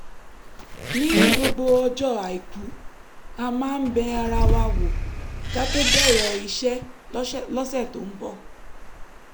ní gbogbo ọjọ́ àìkú a máa ń bẹ ara wa wò ká tó bẹ̀rẹ̀ iṣẹ́ lọ́sẹ̀ tó ń bọ̀